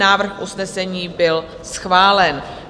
Návrh usnesení byl schválen.